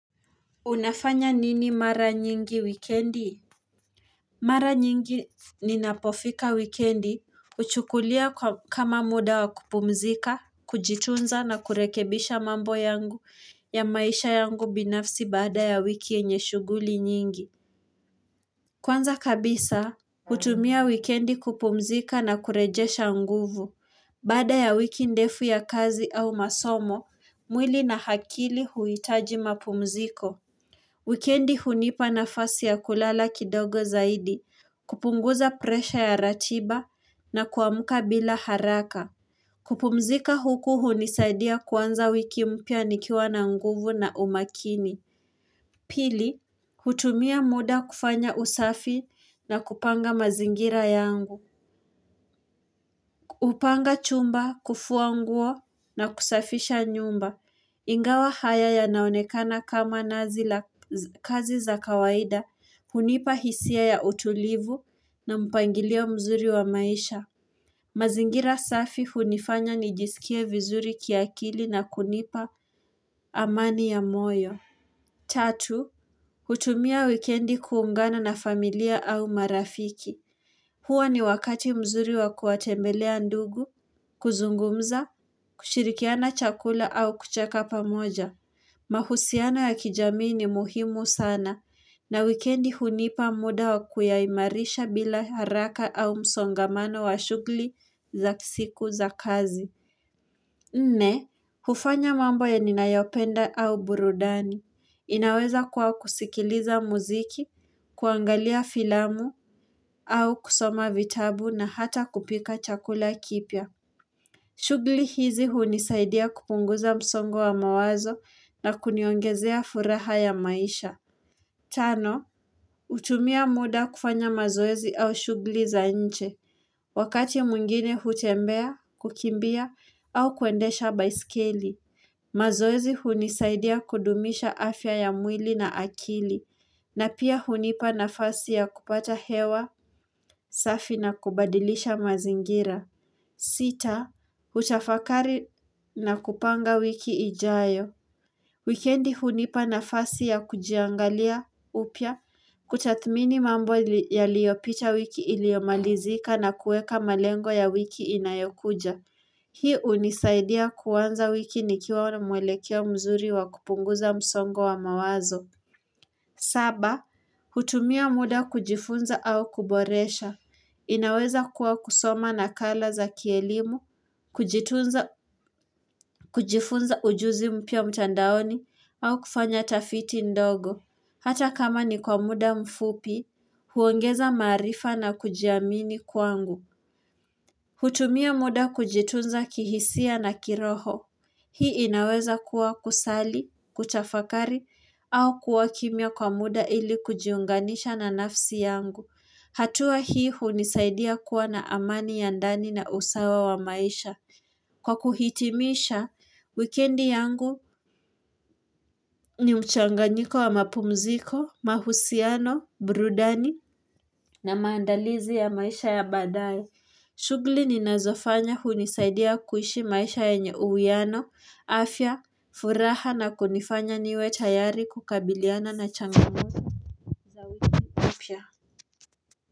Unafanya nini mara nyingi wikendi? Mara nyingi ninapofika wikendi, uchukulia kama muda wa kupumzika, kujitunza na kurekebisha mambo yangu ya maisha yangu binafsi baada ya wiki yenye shuguli nyingi. Kwanza kabisa, hutumia wikendi kupumzika na kurejesha nguvu. Baada ya wiki ndefu ya kazi au masomo, mwili na hakili huitaji mapumziko. Wikendi hunipa na fasi ya kulala kidogo zaidi. Kupunguza presha ya ratiba na kuamka bila haraka. Kupumzika huku hunisaidia kuanza wiki mpya nikiwa na nguvu na umakini. Pili, hutumia muda kufanya usafi na kupanga mazingira yangu. Hupanga chumba, kufuanguo na kusafisha nyumba. Ingawa haya ya naonekana kama nazi la kazi za kawaida. Hunipa hisia ya utulivu na mpangilio mzuri wa maisha. Mazingira safi hunifanya nijisikie vizuri kiakili na kunipa amani ya moyo. Tatu, hutumia wikendi kuungana na familia au marafiki. Huwa ni wakati mzuri wa kuwatembelea ndugu, kuzungumza, kushirikiana chakula au kucheka pamoja. Mahusiano ya kijamii ni muhimu sana, na wikendi hunipa muda wa kuyaimarisha bila haraka au msongamano wa shugli za siku za kazi. Nne, hufanya mambo ya ninayopenda au burudani. Inaweza kuwa kusikiliza muziki, kuangalia filamu au kusoma vitabu na hata kupika chakula kipya. Shugli hizi hunisaidia kupunguza msongo wa mawazo na kuniongezea furaha ya maisha. Tano, hutumia muda kufanya mazoezi au shugli za nje. Wakati mwingine hutembea, kukimbia au kuendesha baiskeli. Mazoezi hunisaidia kudumisha afya ya mwili na akili, na pia hunipa na fasi ya kupata hewa, safi na kubadilisha mazingira. Sita, huchafakari na kupanga wiki ijayo. Wikendi hunipa na fasi ya kujiangalia upya, kutathmini mambo ya liyopita wiki iliomalizika na kueka malengo ya wiki inayokuja. Hii unisaidia kuanza wiki nikiwa na mwelekeo mzuri wa kupunguza msongo wa mawazo. Saba, hutumia muda kujifunza au kuboresha. Inaweza kuwa kusoma na kala za kielimu, kujitunza kujifunza ujuzi mpya mtandaoni, au kufanya tafiti ndogo. Hata kama ni kwa muda mfupi, huongeza marifa na kujiamini kwangu. Hutumia muda kujitunza kihisia na kiroho. Hii inaweza kuwa kusali, kutafakari, au kuwa kimya kwa muda ili kujiunganisha na nafsi yangu. Hatua hii hunisaidia kuwa na amani ya ndani na usawa wa maisha. Kwa kuhitimisha, wikendi yangu ni mchanganyiko wa mapumziko, mahusiano, burudani na maandalizi ya maisha ya badae. Shugli ni nazofanya hunisaidia kuishi maisha enye uwiano, afya, furaha na kunifanya niwe tayari kukabiliana na changamoto mpya.